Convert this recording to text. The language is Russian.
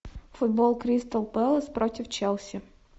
футбол кристал пэлас против челси